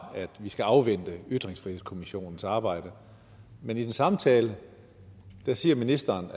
at vi skal afvente ytringsfrihedskommissionens arbejde men i den samme tale siger ministeren